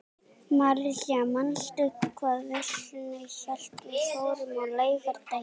Marsilía, manstu hvað verslunin hét sem við fórum í á laugardaginn?